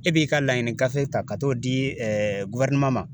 E b'i ka laɲini gafe ta ka t'o di ma.